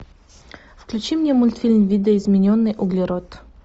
включи мне мультфильм видоизмененный углерод